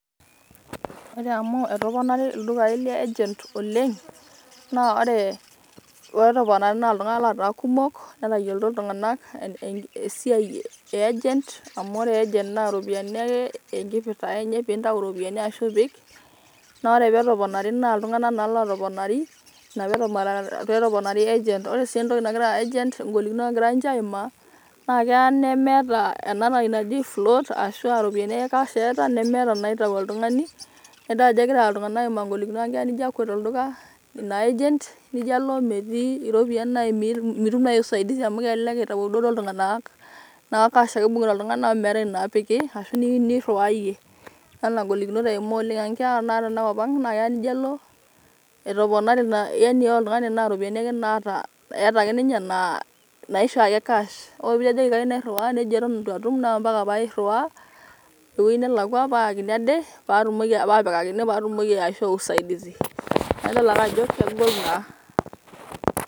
Ore amu etoponari ildukai le Agent oleng naa ore petoponari naa iltunganak lotaa kumok netayiolito iltunganak esiai e Agent . amu ore agent na pintayu iropiyiani ashu ipik naa ore petoponari naaa iltunganak naa lotoponar ina petoponari agent . ore ngolikinot nagira agent aimaa naa keya nemeeta ena toki naji float ashuaa ropiyiani ake cash eeta nemeeta inaitau oltungani.